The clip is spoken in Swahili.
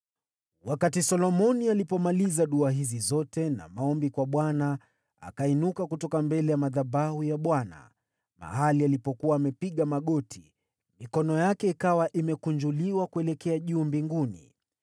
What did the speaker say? Wakati Solomoni alipomaliza dua hizi zote na maombi kwa Bwana , akainuka kutoka mbele ya madhabahu ya Bwana , mahali alipokuwa amepiga magoti, mikono yake ikawa imekunjuliwa kuelekea juu mbinguni.